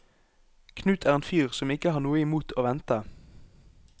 Knut er en fyr som ikke har noe i mot å vente.